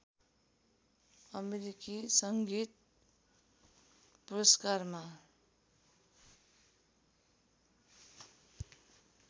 अमेरिकी सङ्गीत पुरस्कारमा